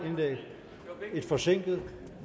et ekstra tjek